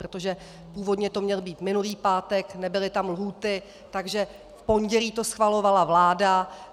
Protože původně to měl být minulý pátek, nebyly tam lhůty, takže v pondělí to schvalovala vláda.